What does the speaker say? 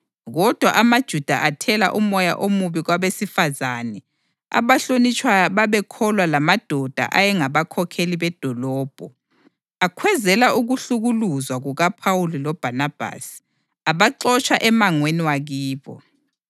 Kodwa amaJuda athela umoya omubi kwabesifazane abahlonitshwayo ababekholwa lamadoda ayengabakhokheli bedolobho. Akhwezela ukuhlukuluzwa kukaPhawuli loBhanabhasi, abaxotsha emangweni wakibo.